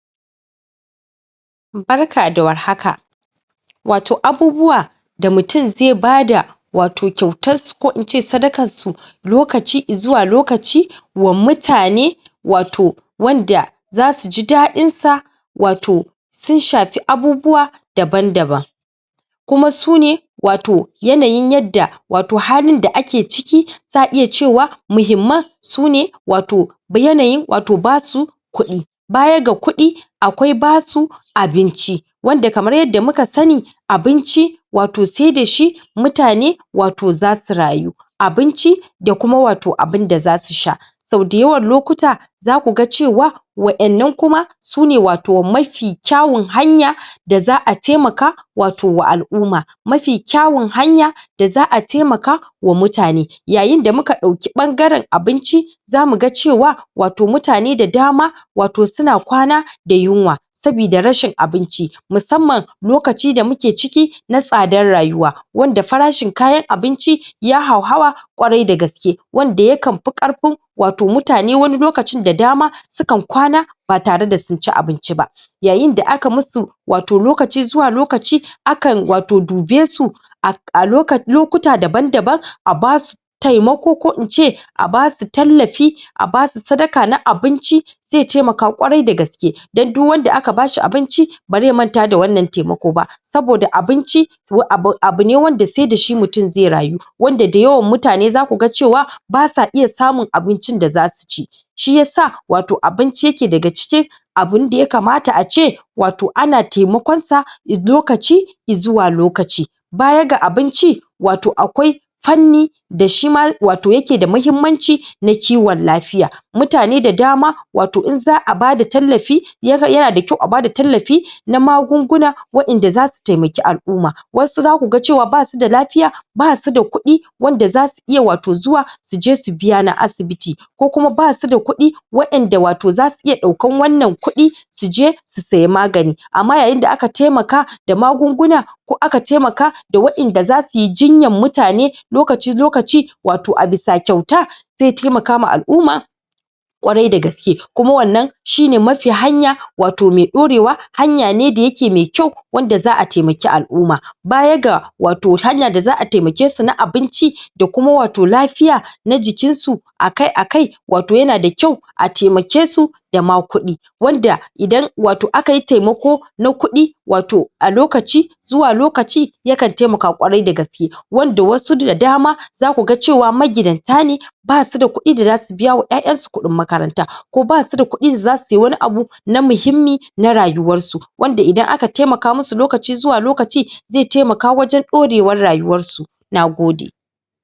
Barka da warhaka wato abubuwa da mutun zai bada wato kyautas su ko in ce sadakas su lokaci i zuwa lokaci wa mutane wato wanda zasuji dadinsa wato wato sun shafi abubuwa daban daban kuma su ne wato yanayin yadda wato halin da ake ciki, zaʼa iya cewa, muhimman su ne wato yanayin wato basu kuɗi baya ga kuɗi akwai basu abinci wanda kamar yadda muka sani abinci wato sai dashi mutane wato zasu rayu abinci da kuma wato abinda zasu sha, sau dayawan lokuta za ku ga cewa su ne wato mafi kyawun hanya da za'a taimaka wato wa alʼuma mafi kyawun hanya, da zaʼa taimaka wa mutane, yayin da muka ɗauki ɓangaren abinci zamu ga cewa wato mutane da dama wato suna kwana da yunwa sabida rashin abinci, musamman lokaci da mu ke ciki na tsadar rayuwa, wanda farashin kayan abinci ya hauhawa ƙwarai dagaske, wanda ya kan pi ƙarpin wato mutane wani lokacin da dama, su kan kwana, ba tare da sun ci abinci ba yayin da aka musu, wato lokaci zuwa lokaci, akan wato dube su a lokuta daban daban, a basu taimako ko ince, a basu tallafi, a basu sadaka na abinci, ze taimaka ƙwarai dagaske, don duk wanda aka bashi abinci, bare manta da wannan taimako ba, saboda abinci, abu ne wanda dai dashi mutum zai rayu, wanda dayawan mutane zaku ga cewa, basa iya samun abincin da zasu ci shi yasa wato abinci yake daga cikin abinda yakamata ace, wato ana taimakonsa lokaci i zuwa lokaci, baya ga abinci, wato akwai fanni da shima wato yake da muhimmanci na kiwon lafiya, mutane da dama, wato in zaʼa bada tallafi, yana da kyau a bada tallafi, na magunguna, waʼinda zasu taimaki alʼuma, wasu zaku ga cewa basu da da lafiya, basu da kuɗi, wanda zasu iya wato zuwa su je su biya na asibiti, ko kuma basu da kuɗi, waʼenda wato zasu iya ɗaukan wannan kuɗi, su je su siya magani, amma yayin da aka taimaka da magunguna, ko aka taimaka da waʼinda zasu yi jinyan mutane, lokaci lokaci wato a bisa kyauta, zai taimaka wa alʼuma ƙwarai dagaske, kuma wannan, shine mafi hanya wato mai dorewa, hanya ne da yake mai kyau, wanda zaʼa taimaki alʼuma, baya ga wato hanya da zaʼa taimake su na abinci, da kuma wato lafiya, na jikinsu, akai akai, wato yana da kyau, a taimake su da ma kuɗi, wanda idan wato aka yi taimako, na kuɗi wato a lokaci zuwa lokaci, ya kan taimaka ƙwarai dagaske, wanda wasu da dama, zaku ga cewa magidanta ne, basu da kuɗi da zasu biya wa ƴaƴansu kuɗin makaranta, ko basu da kuɗi da zasu sayi wani abu, na muhimmi, na rayuwarsu, wanda idan aka taimaka musu, lokaci zuwa lokaci, zai taimaka wajen ɗorewar rayuwarsu, nagode